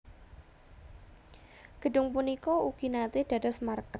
Gedhung punika ugi naté dados markas